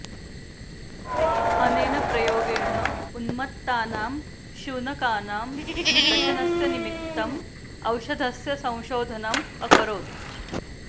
अनेन प्रयोगेण उन्मत्तानां शुनकानां दशनस्य निमित्तम् औषधस्य संशोधनम् अकरोत्